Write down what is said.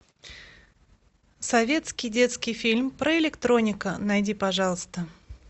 советский детский фильм про электроника найди пожалуйста